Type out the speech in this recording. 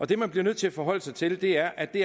det man bliver nødt til at forholde sig til er at det